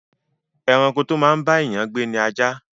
Ẹranko to máa ń bá èèyàn gbé ni ajá